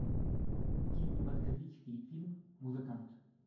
кинематографический фильм музыкант